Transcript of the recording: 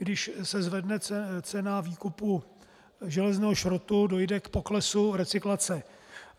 Když se zvedne cena výkupu železného šrotu, dojde k poklesu recyklace.